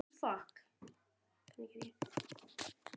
Hverju á ég þennan óvænta heiður að þakka?